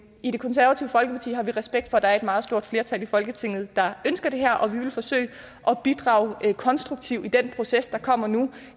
i det konservative folkeparti har vi respekt for at der er et meget stort flertal i folketinget der ønsker det her og vi vil forsøge at bidrage konstruktivt i den proces der kommer nu